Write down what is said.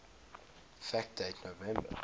fact date november